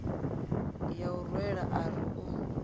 ya u rwela ari u